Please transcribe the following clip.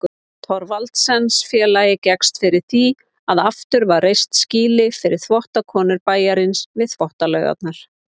Thorvaldsensfélagið gekkst fyrir því að aftur var reist skýli fyrir þvottakonur bæjarins við Þvottalaugarnar.